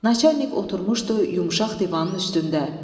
Naçalnik oturmuşdu yumşaq divanın üstündə.